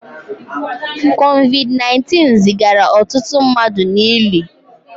COVID 19 zigara ọtụtụ mmadụ n'ili